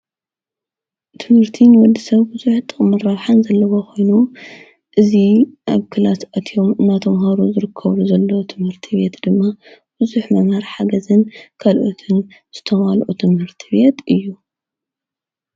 ትምርቲ ንወዲሰብ ብዙሕ ጥቅምን ረብሓን ዘለዎ ኮይኑ እዚ ኣብ ክላስ ኣትዮም እናተምሃሩ ዝርከቡ ዘሎ ትምህርት ቤት ድማ ብዙሕ መምሃሪ ሓገዝን ክኣልኦትን ዝተማልኡ ትምህርቲ ቤት እዩ ።